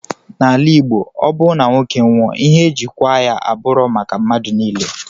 Na ala igbo ọbu na nwoke nwụọ ihe eji kwa ya aburọ maka madu nile.